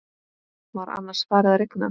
Var annars farið að rigna?